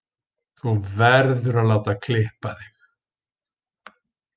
Þú verður að láta klippa þig.